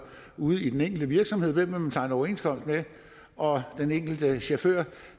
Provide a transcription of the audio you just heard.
ude i den enkelte virksomhed hvem man vil tegne overenskomst med og den enkelte chauffør